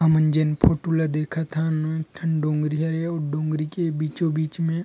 हमन जेन फोटो ल देखत हन ओ एक ठन डोंगरी हरे अउ डोंगरी के बीचों-बीच मे--